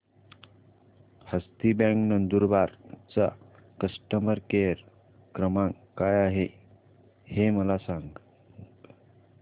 हस्ती bank Nandurbar चा customer care क्रमांक काय आहे हे मला सांगा